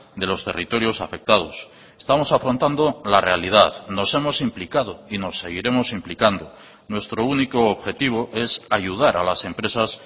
de los territorios afectados estamos afrontando la realidad nos hemos implicado y nos seguiremos implicando nuestro único objetivo es ayudar a las empresas